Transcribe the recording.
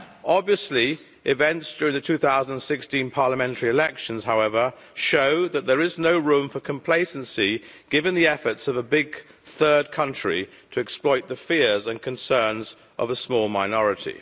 Obviously, events during the 2016 parliamentary elections, however, show that there is no room for complacency, given the efforts of a big third country to exploit the fears and concerns of a small minority.